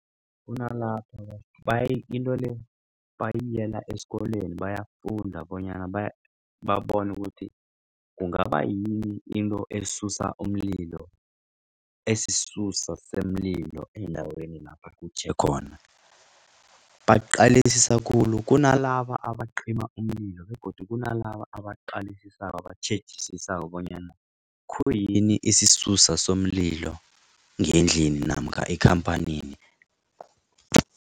Kunalapho into le bayiyela esikolweni bayafunda bonyana ukuthi kungaba yini into esisusa somlilo endaweni lapha kutjhe khona. Baqalisisa khulu kunalaba abacima umlilo begodu kunalaba abaqalisisako abatjhejisisako bonyana khuyini isisusa somlilo ngendlini namkha ekhamphanini.